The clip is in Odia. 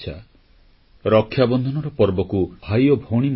• ପ୍ରାଚୀନ ଭାରତଭୂମି ଥିଲା ଚମତ୍କାର ସ୍ଥାପତ୍ୟ ଇଞ୍ଜିନିୟରିଂର ପ୍ରୟୋଗଶାଳା